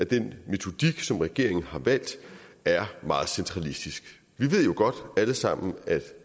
den metodik som regeringen har valgt er meget centralistisk vi ved jo godt alle sammen